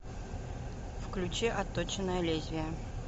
включи отточенное лезвие